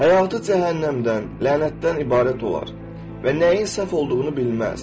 Həyatı cəhənnəmdən, lənətdən ibarət olar və nəyin səhv olduğunu bilməz.